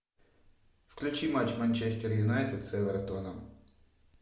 включи матч манчестер юнайтед с эвертоном